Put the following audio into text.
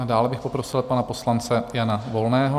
Dále bych poprosil pana poslance Jana Volného.